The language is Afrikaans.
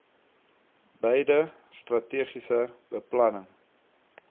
beide strategiese beplanning